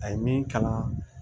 A ye min kala